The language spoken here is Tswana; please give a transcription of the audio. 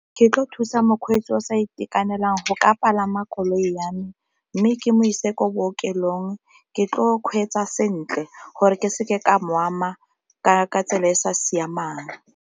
Ke tlo thusa mokgweetsi o sa itekanelang go ka palama koloi ya me, mme ke mo ise ko bookelong ke tlo kgweetsa sentle gore ke seke ka moo nama ka ka tsela e e sa siamang.